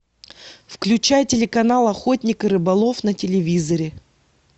включай телеканал охотник и рыболов на телевизоре